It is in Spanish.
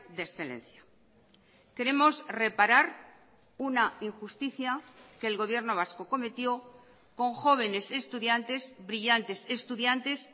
de excelencia queremos reparar una injusticia que el gobierno vasco cometió con jóvenes estudiantes brillantes estudiantes